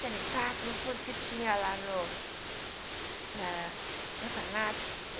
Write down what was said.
que tinha lá no na na orfanato.